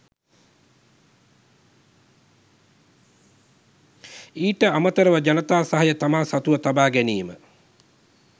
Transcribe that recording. ඊට අමතරව ජනතා සහය තමා සතුව තබා ගැනීම